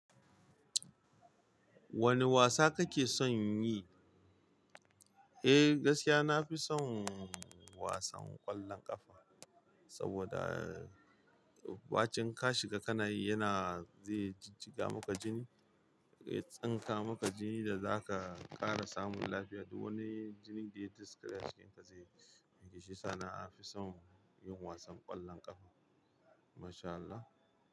Wane wasa kake son yi? Eh, gaskiya na fi son wasan ƙwallon ƙafa saboda bacin ka shiga ka na yi yana zai jijjiga maka jini, ya tsinka maka jini da za ka ƙara samun lafiya. Duk wani jini da ya daskare jikinka zai wanke shi. Sa na fi son yin wasan ƙwallon ƙafa. Masha Allah.